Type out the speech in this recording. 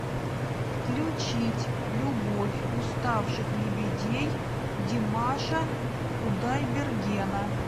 включить любовь уставших лебедей димаша кудайбергена